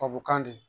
Tubabukan di